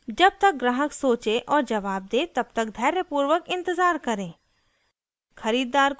जब तक ग्राहक सोचे और जवाब दे तब तक धैर्यपूर्वक इंतज़ार करें